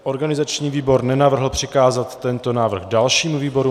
Organizační výbor nenavrhl přikázat tento návrh dalšímu výboru.